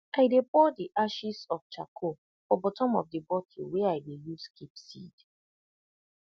i dey pour d ashes of charcoal for bottom of the bottle wey i dey use keep seed